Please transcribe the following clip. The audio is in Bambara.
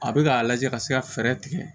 A bɛ k'a lajɛ ka se ka fɛɛrɛ tigɛ